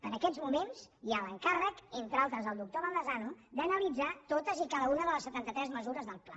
en aquests moments hi ha l’encàrrec entre altres al doctor baldasano d’analitzar totes i cada una de les setanta tres mesures del pla